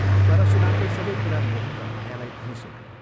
परशुरामले सबै कुरा मोहन र मायालाई भनी सुनाए।